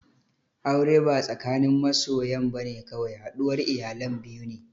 Aure ba tsakanin masoyan bane kawai, haɗuwar iyalan biyu ne